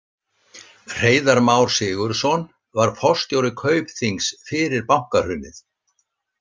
Hreiðar Már Sigurðsson var forstjóri Kaupþings fyrir bankahrunið.